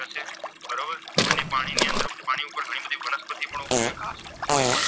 કોઈ